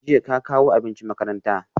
Jiya ka kawo abinci makaranta?